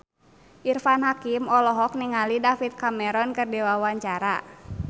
Irfan Hakim olohok ningali David Cameron keur diwawancara